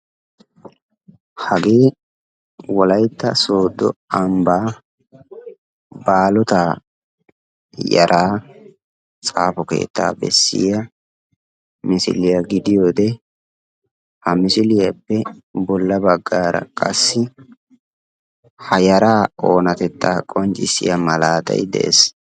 Hagee wolaytta sodo ambba baalota yaraa xaafo keettaa bessiyaa misiliyaa giddiyode, ha misiliyapee bolla baggara qassi ha yaraa oonatettaa qonccissiyaa malaataay de'ees.